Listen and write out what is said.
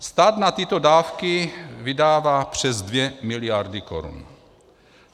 Stát na tyto dávky vydává přes dvě miliardy korun.